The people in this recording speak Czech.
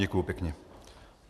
Děkuji pěkně.